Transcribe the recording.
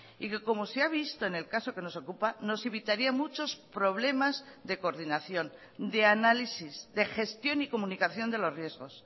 y que como se ha visto en el caso que nos ocupa nos evitaría muchos problemas de coordinación de análisis de gestión y comunicación de los riesgos